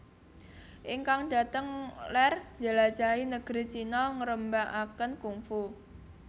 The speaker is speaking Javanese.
Ingkang dhateng ler njelajahi negeri China ngrembakaken kungfu